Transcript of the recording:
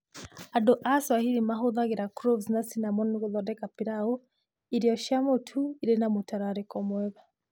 Andũ a Swahili mahũthagĩra cloves na cinnamon gũthondeka pilau, irio cia mũtu irĩ na mũtararĩko mwega.